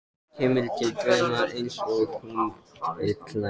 Kemur til dyranna einsog hún er klædd.